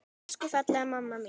Elsku fallega mamma mín!